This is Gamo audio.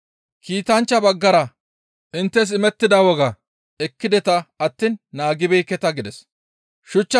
Kiitanchcha baggara inttes imettida woga ekkideta attiin naagibeekketa» gides.